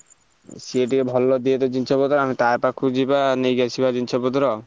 ସିଏ ଟିକେ ଭଲ ଦିଏ ତ ଜିନିଷ ପତ୍ର ଆମେ ତା ପାଖକୁ ଯିବା ନେଇକି ଆସିବା ଜିନିଷ ପତ୍ର।